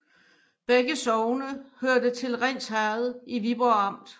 Begge sogne hørte til Rinds Herred i Viborg Amt